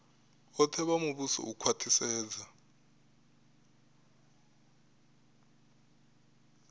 vhoṱhe vha muvhuso u khwaṱhisedza